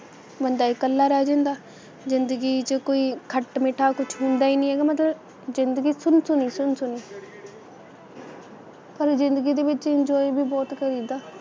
ਬੰਦਾ ਇਕੱਲਾ ਰਹਿ ਜਾਂਦਾ, ਜਿੰਦਗੀ 'ਚ ਕੋਈ ਖੱਟ ਮਿੱਠਾ ਕੁੱਛ ਹੁੰਦਾ ਈ ਨਹੀਂ ਹੈਗਾ ਮਤਲਬ ਜਿੰਦਗੀ ਸੁਨਸੁਨੀ ਸੁਨਸੁਨੀ ਪਰ ਜਿੰਦਗੀ ਦੇ ਵਿੱਚ enjoy ਵੀ ਬਹੁਤ ਕਰੀਦਾ,